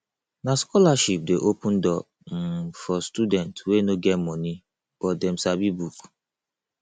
na scholarship dey open door um for students wey no get moni but dem sabi book